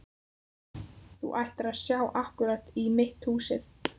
Þú ættir að sjá akkúrat í mitt húsið.